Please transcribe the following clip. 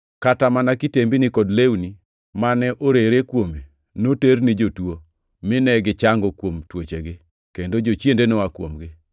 kata mana kitembini kod lewni mane orere kuome noter ni jotuo, mine gichango kuom tuochegi kendo jochiende noa kuomgi.